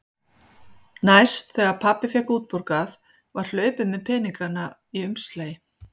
Næst þegar pabbi fékk útborgað var hlaupið með peningana í umslagi.